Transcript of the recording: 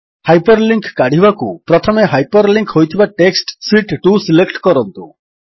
hyperlink କାଢ଼ିବାକୁ ପ୍ରଥମେ hyperlink ହୋଇଥିବା ଟେକ୍ସଟ୍ ଶୀତ୍ 2 ସିଲେକ୍ଟ କରନ୍ତୁ